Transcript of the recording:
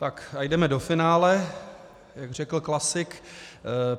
Tak a jdeme do finále, jak řekl klasik.